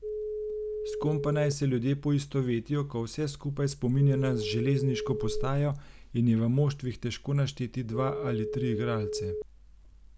S kom pa naj se ljudje poistovetijo, ko vse skupaj spominja na železniško postajo in je v moštvih težko našteti dva ali tri igralce?